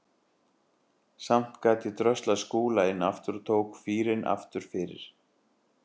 Samt gat ég dröslað Skúla inn aftur og tók fýrinn aftur fyrir.